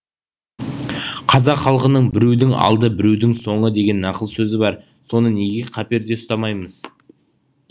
қазақ халқының біреудің алды біреудің соңы деген нақыл сөзі бар соны неге қаперде ұстамаймыз